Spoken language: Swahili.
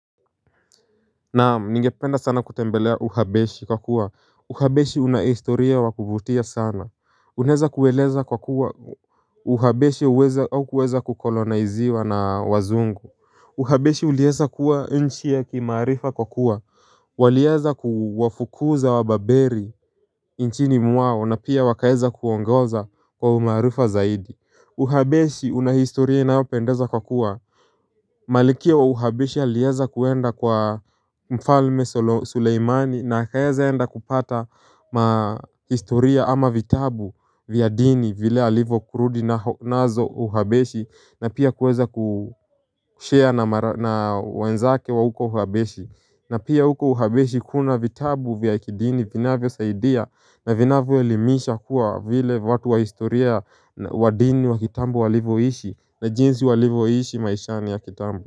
Naamu ningependa sana kutembelea uhabeshi kwa kuwa Uhabeshi unahistoria wa kuvutia sana Unaeza kueleza kwa kuwa uhabeshi uweza au kuweza kukoloniziwa na wazungu Uhabeshi ulieza kuwa nchi ya kimaarifa kwa kuwa walieza kuwafukuza wa baberi nchini mwao na pia wakaeza kuongoza kwa umaarifa zaidi Uhabeshi unahistoria inaopendeza kwa kuwa Malikia wa uhabesha aliyeza kuenda kwa mfalme Suleimani na akaeza enda kupata hestoria ama vitabu vya dini vile alivyo kurudi nazo uhabeshi na pia kuweza kushare na wanzake wa uko uhabeshi na pia huko uhabeshi kuna vitabu vya kidini vinavyo saidia na vinavyo elimisha kuwa vile watu wa historia wa dini wa kitambo walivyoishi na jinsi walivyoishi maishani ya kitambo.